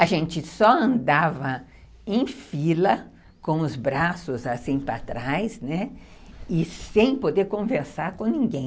A gente só andava em fila, com os braços assim para trás, né, e sem poder conversar com ninguém.